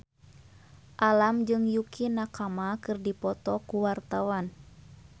Alam jeung Yukie Nakama keur dipoto ku wartawan